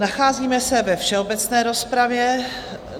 Nacházíme se ve všeobecné rozpravě.